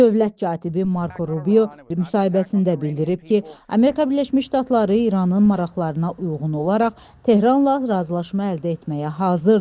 Dövlət katibi Marko Rubio müsahibəsində bildirib ki, Amerika Birləşmiş Ştatları İranın maraqlarına uyğun olaraq Tehranla razılaşma əldə etməyə hazırdır.